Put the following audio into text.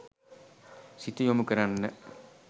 සිත යොමු කරන්න.